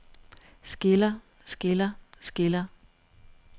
skiller skiller skiller